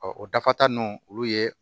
o dafa ta nunnu olu ye